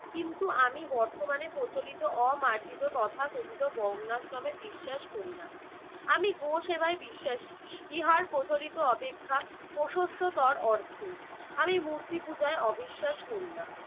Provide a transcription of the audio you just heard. কিন্তু আমি বর্তমানে প্রচলিত অমার্জিত তথাকথিত বর্ণাশ্রমে বিশ্বাস করি না। আমি গো সেবাই বিশ্বাসী, ইহার প্রচলিত অপেক্ষা প্রশস্ততর অর্থে। আমি মূর্তি পূজায় অবিশ্বাস করি না।